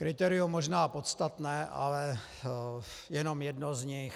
Kritérium možná podstatné, ale jenom jedno z nich.